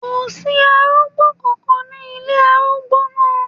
Kò sí arúgbó kankan ní ilé arúgbó náà.